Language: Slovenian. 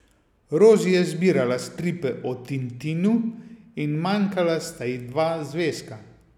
Rozi je zbirala stripe o Tintinu in manjkala sta ji dva zvezka.